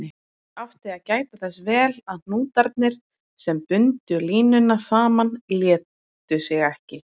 Ég átti að gæta þess vel að hnútarnir, sem bundu línuna saman, létu sig ekki.